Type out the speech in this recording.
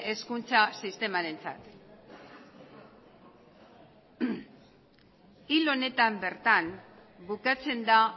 hezkuntza sistemarentzat hil honetan bertan bukatzen da